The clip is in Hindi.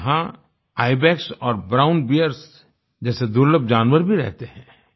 यहाँ आईबेक्स और ब्राउन बियर्स जैसे दुर्लभ जानवर भी रहते हैं